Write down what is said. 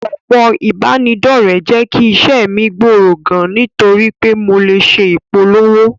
Òpó ìbánidọ́rẹ̀, jẹ́ kí iṣẹ́ mi gbòòrò gan, nítorí pé mo lè ṣe ìpolówó.